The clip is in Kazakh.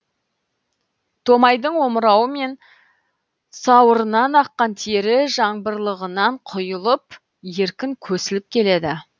томайдың омырауы мен сауырынан аққан тері жаңбырлығынан құйылып еркін көсіліп келеді